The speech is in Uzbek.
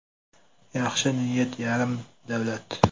Yaxshi niyat yarim davlat”.